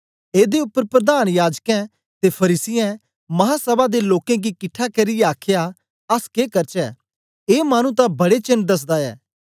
एदे उपर प्रधान याजकें ते फरीसियें महासभा दे लोकें गी किट्ठा करियै आखया अस के करचै ए मानु तां बड़े चेन्न दसदा ऐ